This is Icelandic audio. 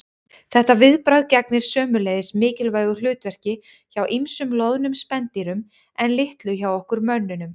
Þetta viðbragð gegnir sömuleiðis mikilvægu hlutverki hjá ýmsum loðnum spendýrum en litlu hjá okkur mönnunum.